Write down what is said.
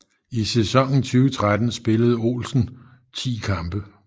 I sæsonen 2013 spillede Olsen 10 kampe